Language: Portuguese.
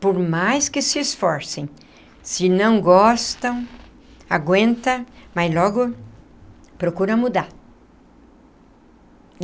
Por mais que se esforcem, se não gostam, aguenta, mas logo procura mudar.